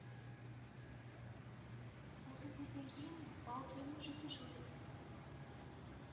осы сөзден кейін баукеңнің жүзі жыли бастады